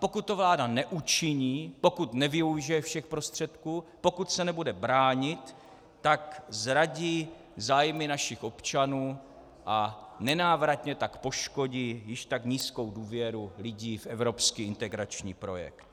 Pokud to vláda neučiní, pokud nevyužije všech prostředků, pokud se nebude bránit, tak zradí zájmy našich občanů a nenávratně tak poškodí již tak nízkou důvěru lidí v evropský integrační projekt.